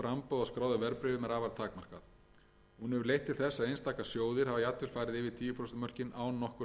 þess að einstaka sjóðir hafa jafnvel farið yfir tíu prósent mörkin án nokkurra viðskipta gera má ráð